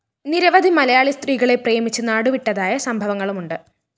നിരവധി മലയാളി സ്ത്രീകളെ പ്രേമിച്ച് നാടുവിട്ടതായ സംഭവങ്ങളുമുണ്ട്